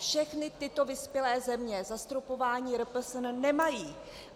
Všechny tyto vyspělé země zastropování RPSN nemají.